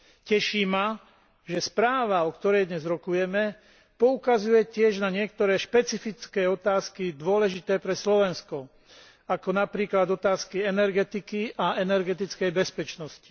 Teší ma, že správa, o ktorej dnes rokujeme, poukazuje tiež na niektoré špecifické otázky dôležité pre Slovensko, ako napríklad otázky energetiky a energetickej bezpečnosti.